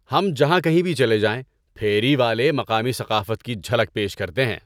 ہم جہاں کہیں بھی چلے جائیں پھیری والے مقامی ثقافت کی جھلک پیش کرتے ہیں۔